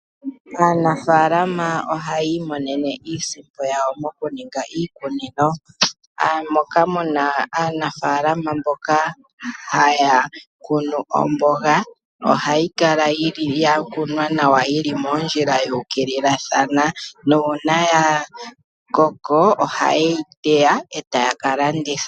Aanafaalama ohaya imonene iisimpo yawo mokuninga iikunino, moka mu na aanafaalama mboka haya kunu omboga. Ohayi kala ya kunwa nawa yi li moondjila yu ukililathana nuuna ya koko ohaye yi teya e taya ka landitha.